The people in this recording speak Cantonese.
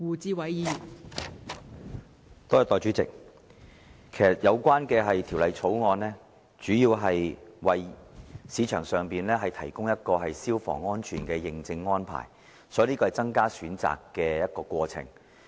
代理主席，《2016年消防條例草案》其實主要為市場提供消防安全的認證安排，所以，這是增加選擇的過程。